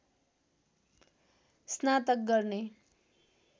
स्नातक गर्ने